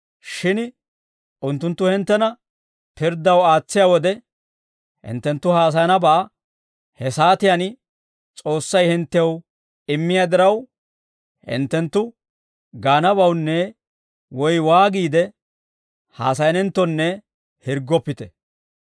Shin unttunttu hinttena pirddaw aatsiyaa wode, hinttenttu haasayanabaa he saatiyaan S'oossay hinttew immiyaa diraw, hinttenttu gaanabawunne woy waagiide haasayanenttonne hirggoppite.